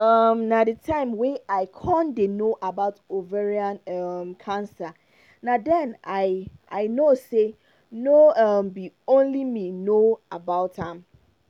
um na the time wey i con dey no about ovarian um cancer na den i i know say no um be only me no know about am